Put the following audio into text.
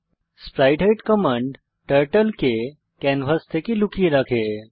sprite hide command turtle কে canvas থেকে লুকিয়ে রাখে